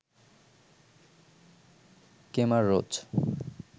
Kemar Roach